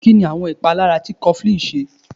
Kínni àwọn ìpalára tí cofflín ní?